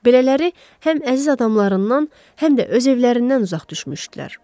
Belələri həm əziz adamlarından, həm də öz evlərindən uzaq düşmüşdülər.